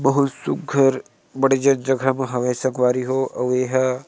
बहुत सुग्घर बढ़िया जगह म हावय संगवारी हो आऊ ये ह--